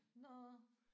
Nåh